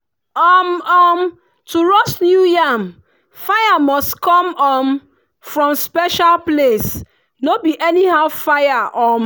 um um to roast new yam fire must come um from special place no be anyhow fire. um